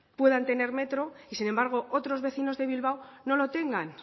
puedan tener metro y sin embargo otros vecinos de bilbao no lo tengan